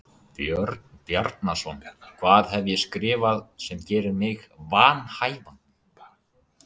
Björn Bjarnason: Hvað hef ég skrifað sem gerir mig vanhæfan?